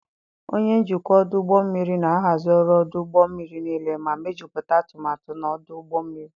Onye njikwa ọdụ ụgbọ mmiri na-ahazi ọrụ ọdụ ụgbọ mmiri niile ma mejuputa atumatu na ọdụ ụgbọ mmiri.